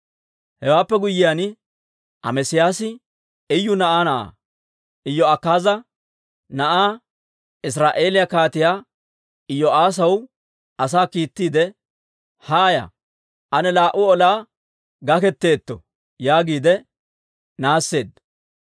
Hewaappe guyyiyaan, Amesiyaasi Iyu na'aa na'aa, Iyo'akaaza na'aa, Israa'eeliyaa kaatiyaa Iyo'aassaw asaa kiittiide, «Haaya; ane laa"u olaa gakketteetto» yaagiide naasseedda.